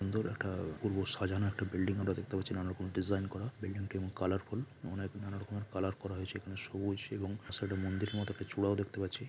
সুন্দর একটা অপূর্ব সাজান একটা বিল্ডিং আমরা দেখতে পাচ্ছি নানা রকম ডিজাইন করা বিল্ডিং টি এবং কালারফুল মনে হয় কোন রকমের কালার করা হয়েছিল |এখানে সবুজ এবং সাইডে মন্দির মত একটা চূড়াও দেখতে পাচ্ছি ।